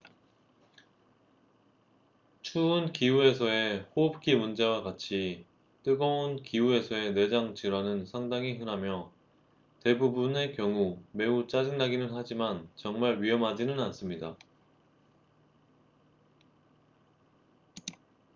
추운 기후에서의 호흡기 문제와 같이 뜨거운 기후에서의 내장 질환은 상당히 흔하며 대부분의 경우 매우 짜증나기는 하지만 정말 위험하지는 않습니다